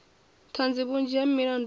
ṱhanzi vhunzhi ha milandu i